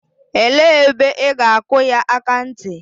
Elee ebe ị ga-akụ ya akanti?